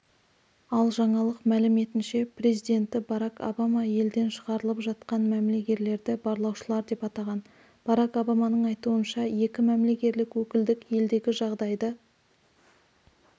ал жаңалық мәліметінше президенті барак обама елден шығарылып жатқан мәмілегерлерді барлаушылар деп атаған барак обаманың айтуынша екі мәмілегерлік өкілдік елдегі жағдайды